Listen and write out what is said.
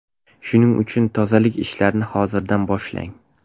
Shuning uchun tozalik ishlarini hozirdan boshlang.